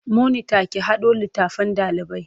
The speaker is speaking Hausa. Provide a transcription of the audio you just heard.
Monita ki haɗo littattafan ɗalibai.